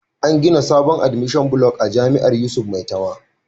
An gina sabon Administration Block a jami'ar yusuf maitama